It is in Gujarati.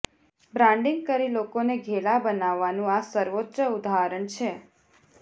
બ્રાન્ડિંગ કરી લોકોને ઘેલા બનાવવાનું આ સર્વોચ્ચ ઉદાહરણ છે